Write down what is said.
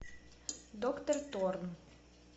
доктор торн